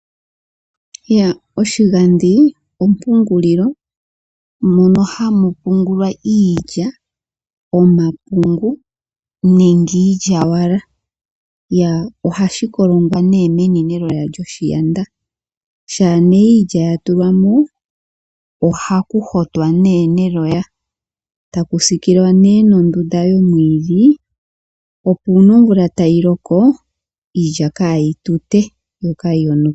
Oshigandhi ompungulilo mono hamu pungulwa iilya, omapungu nenge iilyaalyaka. Ohashi kolongwa meni neloya lyoshaanda. Shampa iilya ya tulwa mo ohaku hotwa neloya e taku siikilwa nondunda yomwiidhi, opo uuna omvula tayi loko iilya kayi tute yo kaayi yonuke.